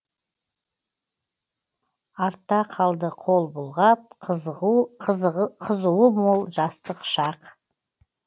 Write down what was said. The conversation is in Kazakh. артта қалды қол бұлғап қызуы мол жастық шақ